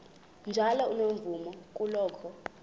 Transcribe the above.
njalo unomvume kuloko